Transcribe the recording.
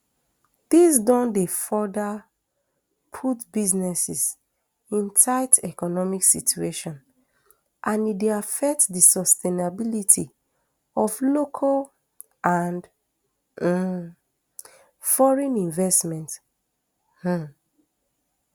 dis don dey further put businesses in tight economic situation and e dey affect di sustainability of local and um foreign investment um